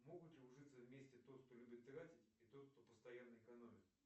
могут ли ужиться вместе тот кто любит тратить и тот кто постоянно экономит